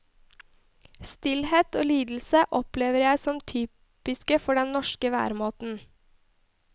Stillhet og lidelse opplever jeg som typiske for den norske væremåten.